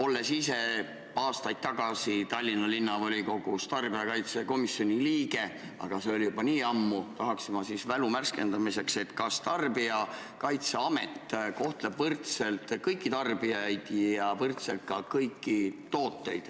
Olles ise aastaid tagasi Tallinna Linnavolikogus tarbijakaitsekomisjoni liige olnud – aga see oli juba nii ammu –, tahan ma mälu värskendamiseks küsida, kas Tarbijakaitseamet kohtleb võrdselt kõiki tarbijaid ja võrdselt ka kõiki tooteid.